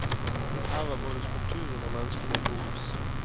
Her var både skulpturene og menneskene i fokus.